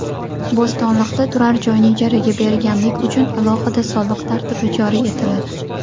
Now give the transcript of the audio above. Bo‘stonliqda turar joyni ijaraga berganlik uchun alohida soliq tartibi joriy etiladi.